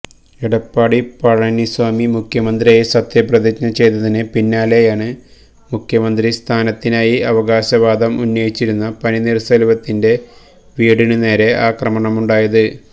എടപ്പാടി പഴനിസാമി മുഖ്യമന്ത്രിയായി സത്യപ്രതിജ്ഞ ചെയ്തതിന് പിന്നാലെയാണ് മുഖ്യമന്ത്രിസ്ഥാനത്തിനായി അവകാശവാദം ഉന്നയിച്ചിരുന്ന പനീര്ശെല്വത്തിന്റെ വീടിനു നേരെ ആക്രമണമുണ്ടായത്